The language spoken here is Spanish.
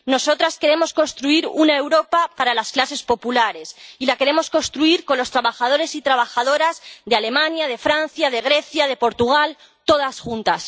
nosotras queremos construir una Europa para las clases populares y la queremos construir con los trabajadores y trabajadoras de Alemania, de Francia, de Grecia, de Portugal todas juntas.